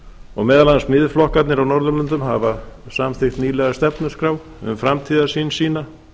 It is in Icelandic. og meðal annars miðflokkarnir á norðurlöndin hafa samþykkt nýlega stefnuskrá um framtíðarsýn sína